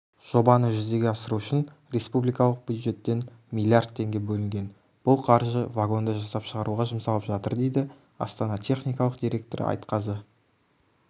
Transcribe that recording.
жобаны жүзеге асыру үшін республикалық бюджеттен миллиард теңге бөлінген бұл қаржы вагонды жасап шығаруға жұмсалып жатыр дейді астана техникалық директоры айтқазы